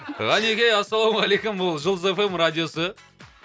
ғанеке ассалаумағалейкум бұл жұлдыз эф эм радиосы